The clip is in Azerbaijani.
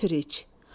götür iç.